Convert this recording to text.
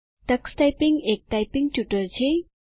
Tux typing એક typing tutor છે